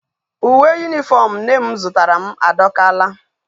Uwe uniform nne m zutara m adokala